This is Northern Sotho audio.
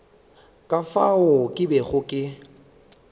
ka fao ke bego ke